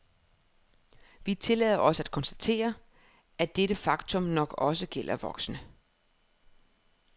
Vi tillader os at konstatere, at dette faktum nok også gælder voksne.